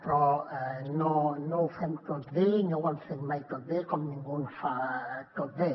però no ho fem tot bé no ho hem fet mai tot bé com ningú no ho fa tot bé